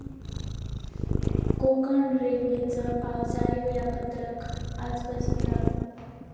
कोकण रेल्वेचं पावसाळी वेळापत्रक आजपासून लागू